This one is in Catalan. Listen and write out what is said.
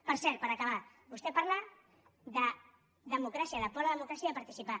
per cert per acabar vostè parla de democràcia de por a la democràcia i a participar